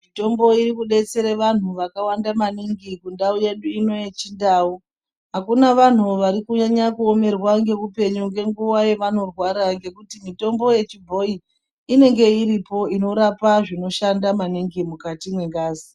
Mitombo irikudetsere vantu vakawande maningi mundau yedu ino yechiNdau. Hakuna vanhu varikunyanya kuomerwa ngeupenyu ngenguva yavanorwara ngekuti mitombo yechibhoyi inenge iripo inorapa zvinoshanda maningi mukati mwengazi.